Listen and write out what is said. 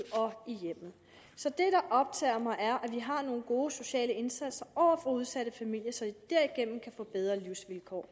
og i hjemmet så det der optager mig er at vi har nogle gode sociale indsatser over for udsatte familier som derigennem kan få bedre livsvilkår